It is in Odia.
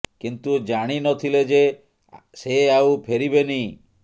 କିନ୍ତୁ ଜାଣି ନ ଥିଲେ ଯେ ସେ ଆଉ ଫେରିବେନି